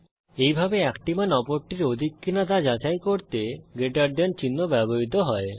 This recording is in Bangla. এইভাবে একটি মান অপরটির অধিক কিনা তা যাচাই করতে গ্রেটার দেন চিহ্ন ব্যবহৃত হয়